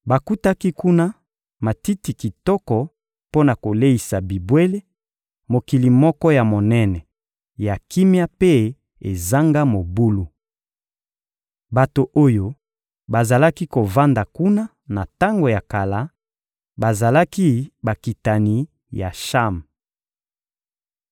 Bakutaki kuna: matiti kitoko mpo na koleisa bibwele, mokili moko ya monene, ya kimia mpe ezanga mobulu. Bato oyo bazalaki kovanda kuna na tango ya kala, bazalaki bakitani ya Cham.